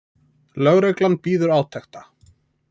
Lögreglan bíður átekta